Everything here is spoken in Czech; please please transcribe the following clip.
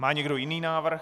Má někdo jiný návrh?